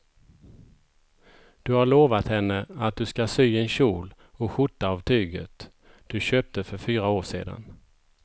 Du har lovat henne att du ska sy en kjol och skjorta av tyget du köpte för fyra år sedan.